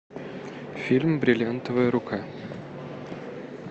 фильм бриллиантовая рука